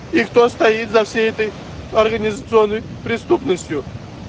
и кто стоит за всей этой организационной преступностью